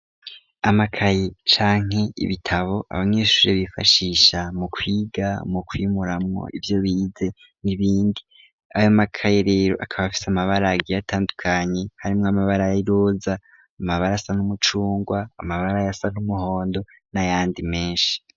Amakaye canke ibitabo abanyeshure bifashisha mukwiga, mukwimuramwo ivyo bize n'ibindi, ayo makaye rero akaba afise amabara agiye atandukanye harimwo amabara y'iroza, amabara asa n'umucungwe, amabara asa n'umuhondo, n'ayandi menshi.